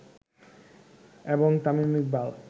এবং তামিম ইকবাল